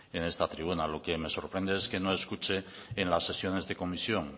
en esta tribuna lo que me sorprende es que no escuche en las sesiones de comisión